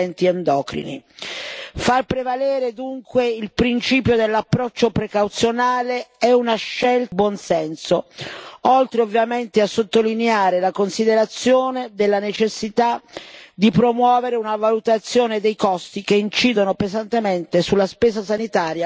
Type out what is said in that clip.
Far prevalere dunque il principio dell'approccio precauzionale è una scelta di buon senso, oltre, ovviamente, a sottolineare la considerazione della necessità di promuovere una valutazione dei costi che incidono pesantemente sulla spesa sanitaria, ma anche su quella sociale.